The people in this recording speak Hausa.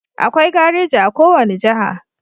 Akwai gareji a ko wani jaha